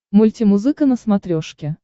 мультимузыка на смотрешке